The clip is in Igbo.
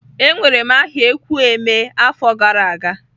Ewere m aha ekwu emee afo gara aga.